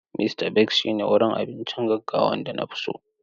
Mista Bigs shine wurin abincin gaggawan da na fi so.